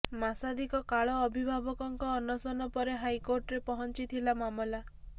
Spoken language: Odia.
ମାସାଧିକ କାଳ ଅଭିଭାବକଙ୍କ ଅନଶନ ପରେ ହାଇକୋର୍ଟରେ ପହଞ୍ଚିଥିଲା ମାମଲା